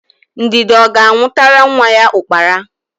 Ndidi ọ ga-anwụtara nwa ya ụkpara?